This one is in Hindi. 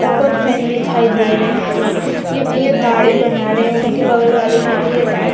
ऊपर फैन दिखाई दे रहे है यह भैया दाढ़ी बना रहे है उनके बगल वाले भी भैया दाढ़ी --